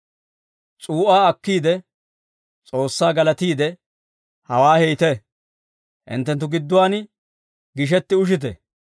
S'uu'aa akkiide, S'oossaa galatiide, «Hawaa heytte, hinttenttu gidduwaan gishetti ushite.